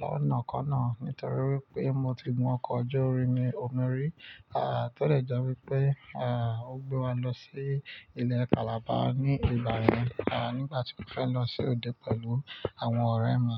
lọ́nà kan náà nítorí wipé mo ti gun ọkọ̀ ojú omi orí, à tẹ́ de jẹ́ wípé, à ó gbé wa lọ sí ilẹ̀ Calabar ní ìgbayen à nígbà tí mo fẹ́ lọ sí òde pẹ̀lú àwọn ọ̀rẹ́ mi.